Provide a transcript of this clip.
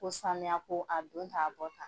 Ko sanuyako a don tan a bɔ tan.